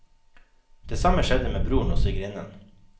Det samme skjedde med broren og svigerinnen.